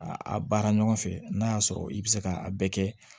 A a baara ɲɔgɔn fɛ n'a y'a sɔrɔ i bɛ se ka a bɛɛ kɛ